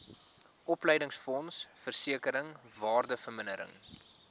opleidingsfonds versekering waardevermindering